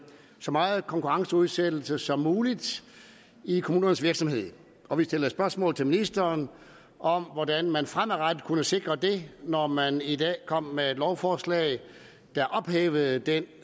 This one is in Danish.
så meget konkurrenceudsættelse som muligt i kommunernes virksomhed og vi stillede spørgsmål til ministeren om hvordan man fremadrettet kunnet sikre det når man i dag kom med et lovforslag der ophævede den